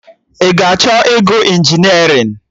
Ị ga-achọ ịgụ injinerịn?